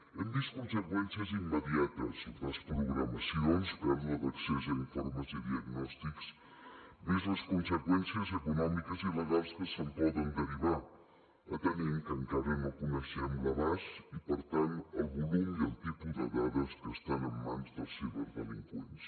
hem vist conseqüències immediates desprogramacions pèrdua d’accés a informes i diagnòstics més les conseqüències econòmiques i legals que se’n poden derivar atenent que encara no coneixem l’abast i per tant el volum i el tipus de dades que estan en mans dels ciberdelinqüents